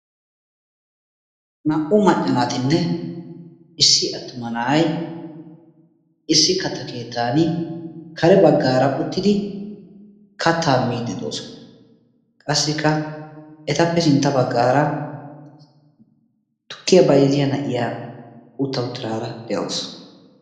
Naa'u maccanaatinne issi attuma na'ay issi katta keettan kare bagaara uttidi kattaa miiddi doosona. Qassikka etappe sintta bagaara tukkiya bayzziya na'iya utta uttidaara de'awusu.